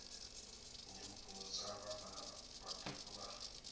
nyimbo dza vhana vhaṱuku vha